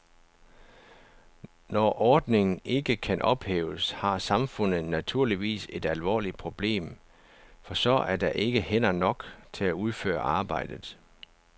Når ordningen ikke kan ophæves, har samfundet naturligvis et alvorligt problem, for så er der ikke hænder nok til at udføre arbejdet.